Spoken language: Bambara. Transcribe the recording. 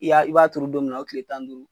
I y'a i b'a turu don min na, o tile tan ni duuru.